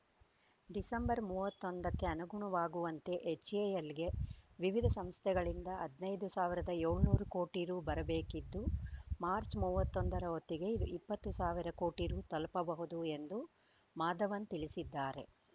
December ಮೂವತ್ತ್ ಒಂದಕ್ಕೆ ಅನುಗುಣವಾಗುವಂತೆ ಎಚ್‌ಎಎಲ್‌ಗೆ ವಿವಿಧ ಸಂಸ್ಥೆಗಳಿಂದ ಹದ್ ನೈದ್ ಸಾವಿರದ ಏಳುನೂರ ಕೋಟಿ ರು ಬರಬೇಕಿದ್ದು ಮಾರ್ಚ್ ಮೂವತ್ತ್ ಒಂದರ ಹೊತ್ತಿಗೆ ಇಪ್ಪತ್ತು ಸಾವಿರ ಕೋಟಿ ರು ತಲುಪಬಹುದು ಎಂದು ಮಾಧವನ್‌ ತಿಳಿಸಿದ್ದಾರೆ